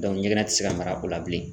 Dɔnku ɲɛgɛn ti se ka mara o la bilen